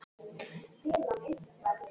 Hálfdán innheimti þó töskurnar hennar síðar.